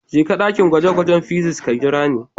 Jeka ɗakin gwaje-gwajen physics ka jira ni.